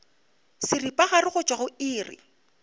seripagare go tšwa go iri